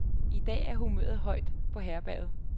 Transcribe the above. I dag er humøret højt på herberget.